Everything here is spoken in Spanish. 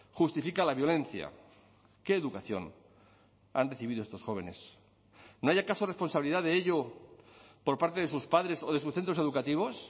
justifica la violencia qué educación han recibido estos jóvenes no hay acaso responsabilidad de ello por parte de sus padres o de sus centros educativos